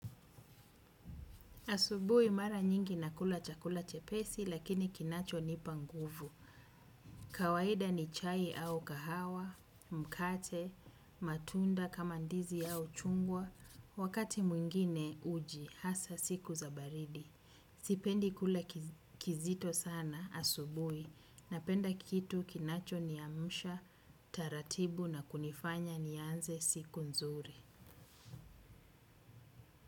Asubui mara nyingi nakula chakula chepesi lakini kinacho nipa nguvu. Kawahida ni chai au kahawa, mkate, matunda kama ndizi au chungwa. Wakati mwingine uji, hasa siku zabaridi. Sipendi kula kizito sana asubui. Napenda kitu kinacho niamusha, taratibu na kunifanya nianze siku nzuri.